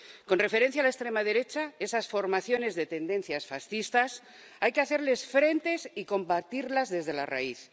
Con referencia a la extrema derecha, esas formaciones de tendencias fascistas, hay que hacerles frente y combatirlas desde la raíz.